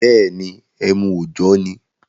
Bẹ́ẹ̀ni, emu òjọ́ ni.